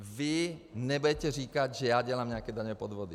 Vy nebudete říkat, že já dělám nějaké daňové podvody.